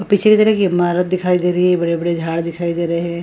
पीछे की तर इमारत दिखाई दे रही है बड़े-बड़े झाड़ दिखाई दे रहे हैं।